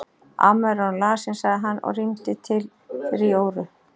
Amma er orðin lasin sagði hann og rýmdi til fyrir Jóru.